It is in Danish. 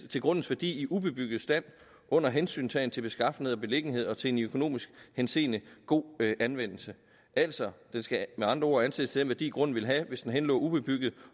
til grundens værdi i ubebygget stand under hensyntagen til beskaffenhed og beliggenhed og til en i økonomisk henseende god anvendelse altså den skal med andre ord ansættes til den værdi grunden ville have hvis den henlå ubebygget